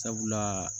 Sabula